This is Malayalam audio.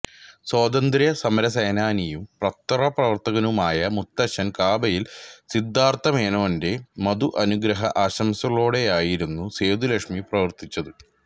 സ്വാതന്തൃ സമരസേനാനിയും പത്രപ്രവർത്തകനുമായ മുത്തഛൻ കാമ്പയിൽ സിദധാർത്തമേനോന്റെ മധു അനുഗ്രഹ ആശംസകളോടെയായിരുന്നു സേതുലക്ഷ്മി പ്രവർത്തിച്ചത്